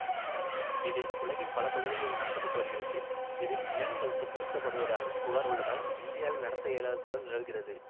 இது உலகின் பல பகுதிகளில் நடத்த பட்டு வருகிறது இதில் விலங்குகள் துன்புறுத்தப்படுவதாக புகார் உள்ளதால் இந்தியாவில் நடத்த இயலாத சூழல் நிலவுகிறது